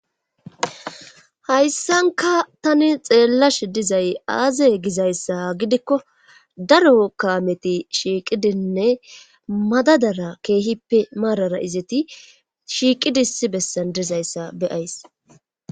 hayssanka tani xeellashe dizay aaze gizayssa gidikko daro kaameti shiiqidinne madadara keehippe maarara izeti shiiqidi issi bessan dizayssa beyays.